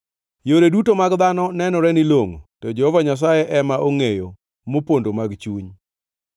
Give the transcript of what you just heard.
Yore duto mag dhano nenorene ni longʼo, to Jehova Nyasaye ema ongʼeyo mopondo mag chuny.